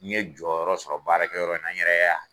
N ye jɔyɔrɔ sɔrɔ baarakɛ yɔrɔ n nan, n yɛrɛ